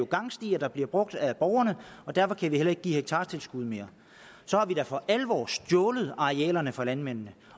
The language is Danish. gangstier der bliver brugt af borgerne så derfor kan vi heller ikke give hektartilskuddet mere så har vi da for alvor stjålet arealerne fra landmændene